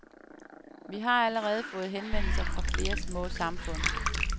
Vi har allerede fået henvendelser fra flere små samfund.